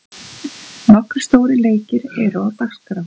Nokkrir stórir leikir eru á dagskrá.